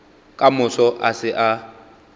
ka moso a se a